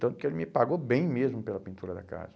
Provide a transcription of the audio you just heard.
Tanto que ele me pagou bem mesmo pela pintura da casa.